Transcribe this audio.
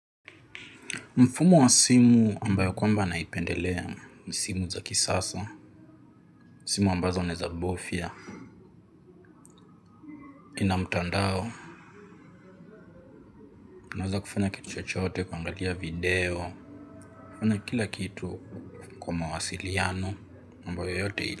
Mfumo wa simu ambayo kwamba naipendelea ni simu za kisasa, simu ambazo unaeza bofya, ina mtandao, naweza kufanya kitu chochote kuangalia video, ina kila kitu kwa mawasiliano ambayo yote ili.